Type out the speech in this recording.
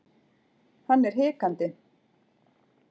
Hann er hikandi.